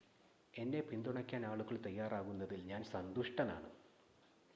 എന്നെ പിന്തുണയ്ക്കാൻ ആളുകൾ തയ്യാറാകുന്നതിൽ ഞാൻ സന്തുഷ്ടനാണ്